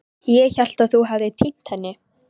Ég hélt að þú hefðir týnt henni.